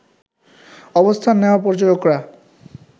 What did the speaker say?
অবস্থান নেওয়া পর্যটকরা